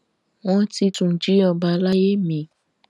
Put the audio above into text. wọn ti tún jí ọba àlàyé mi